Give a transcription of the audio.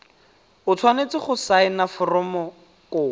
o tshwanetse go saena foromokopo